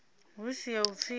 hu si ya u pfisa